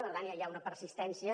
per tant ja hi ha una persistència